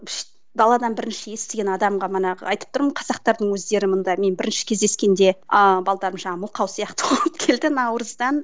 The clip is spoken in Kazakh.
даладан бірінші естіген адамға манағы айтып тұрмын қазақтардың өздері мында мен бірінші кездескенде ааа жаңағы мылқау сияқты болып келді наурыздан